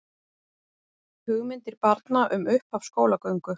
Hugmyndir barna um upphaf skólagöngu